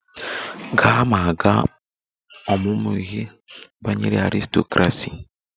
Gaa ma gaa ọmụmụ ihe banyere aristocracy!